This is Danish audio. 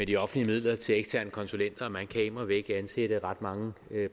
de offentlige midler til eksterne konsulenter man kan immer væk ansætte ret mange